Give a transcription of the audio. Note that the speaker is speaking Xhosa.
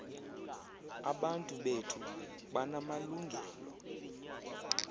abantu bethu banamalungelo